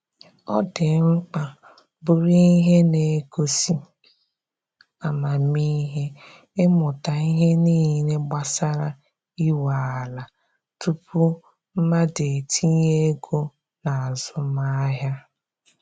Ọ dị mkpa bụrụ ihe na-egosi amamihe ịmụta ihe niile gbasara inwe ala tupu mmadụ etinye ego na azụmahịa.